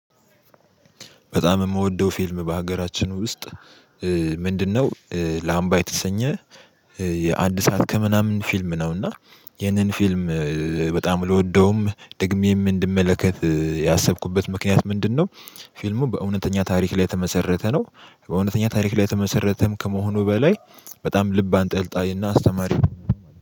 በጣም የምወደው ፊልም በሀገራችን ውስጥ ምንድነው? ላምባ የተሰኘ የአንድ ሰዓት ከምናምን ፊልም ነው። እና ይሄንን ፊልም በጣም ልወደውም ድግሜም እንድመለከት ያሰብኩበት ምክንያት ምንድነው? ፊልሙ በእውነተኛ ታሪክ ላይ የተመሰረተ ነው። በእውነተኛ ታሪክ ላይ የተመሰረተም ከመሆኑ በላይ በጣም ልብ አንጠልጣይና አስተማሪ